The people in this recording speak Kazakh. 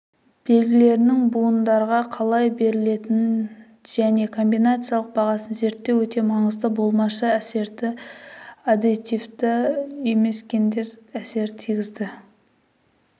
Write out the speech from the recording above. белгілерінің будандарға қалай берілетінін және комбинациялық бағасын зерттеу өте маңызды болмашы әсерді аддитивті емес гендер әсері тигізді